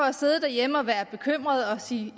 at sidde derhjemme og være bekymret og sige